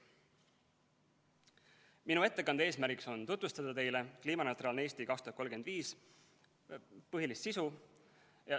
Minu ettekande eesmärk on tutvustada teile "Kliimaneutraalne Eesti 2035" põhilist sisu.